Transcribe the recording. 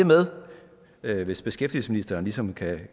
med hvis beskæftigelsesministeren ligesom kan